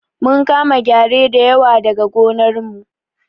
Mun kama gyare da yawa daga gonar mu